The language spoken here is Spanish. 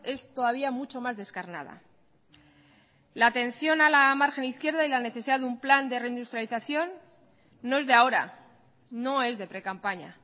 es todavía mucho más descarnada la atención a la margen izquierda y la necesidad de un plan de reindustrialización no es de ahora no es de precampaña